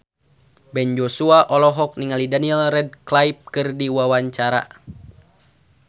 Ben Joshua olohok ningali Daniel Radcliffe keur diwawancara